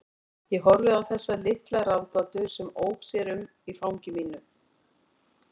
Ég horfði á þessa litla ráðgátu sem ók sér um í fangi mínu.